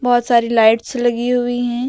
बहुत सारी लाइट्स लगी हुई है।